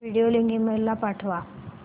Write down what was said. video link email ला पाठव